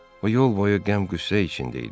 O yol boyu qəm-qüssə içində idi.